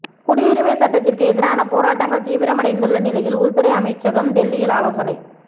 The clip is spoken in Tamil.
குடியுரிமை சட்டத்திற்கு எதிரான போராட்டங்கள் தீவிரமடைந்துள்ள நிலையில் உள்துறை அமைச்சகம் டெல்லியில் ஆலோசனை